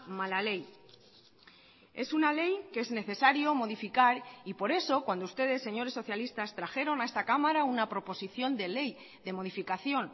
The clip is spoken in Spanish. mala ley es una ley que es necesario modificar y por eso cuando ustedes señores socialistas trajeron a esta cámara una proposición de ley de modificación